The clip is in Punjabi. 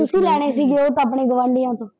ਤੁਸੀਂ ਲੈਣੇ ਸੀਗੇ ਉਹ ਤਾਂ ਆਪਣੇ ਗੁਆਂਢੀਆਂ ਤੋਂ।